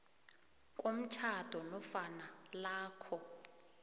komtjhado nofana lokha